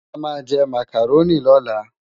Amá jè Mákáróni lòlá